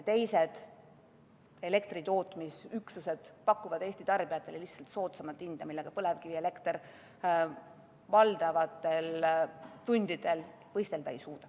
Teised elektritootmisüksused pakuvad Eesti tarbijatele lihtsalt soodsamat hinda, millega põlevkivielekter valdavatel tundidel võistelda ei suuda.